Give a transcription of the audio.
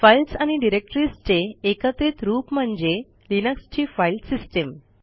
files आणि डिरेक्टरीजचे एकत्रित रूप म्हणजे लिनक्सची फाईल सिस्टीम